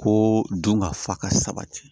Ko dun ka fa ka sabati